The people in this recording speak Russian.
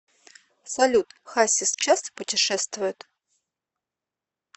салют хасис часто путешествует